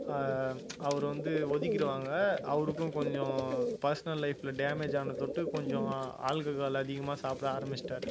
ஆஹ் அவரை வந்து ஒதுக்கிடுவாங்க அவருக்கும் கொஞ்சம் personal life ல damage ஆன தொட்டு கொஞ்சம் alcohol அதிகமா சாப்பிட ஆரம்பிச்சுட்டாரு